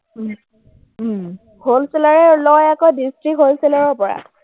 wholeseller এ লয় আকৌ district wholesaler ৰ পৰা।